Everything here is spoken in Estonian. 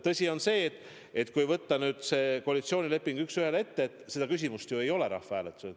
Tõsi on see, et kui võtta see koalitsioonileping üks ühele ette, siis seda küsimust ei ole rahvahääletusel.